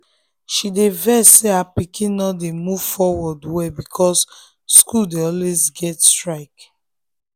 she dey vex say her pikin no dey move forward well because school dey always get strike.